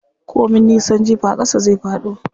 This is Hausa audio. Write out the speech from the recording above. Ko min nisan jifa ƙasa zai faɗo.